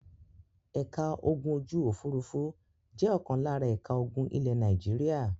Ẹ̀ka ogun ojú-òfurufú jẹ́ ọ̀kan lára ẹ̀ka ogun ilẹ̀ Nàìjíríà.